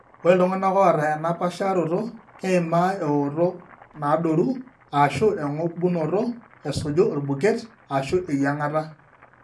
Ore iltung'anak oata ena paasharoto keimaa eooto naadoru ashu eng'obunoto esuju orbuket ashu eyieng'ata.